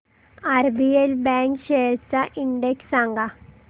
RBL bank shares चा index सांगा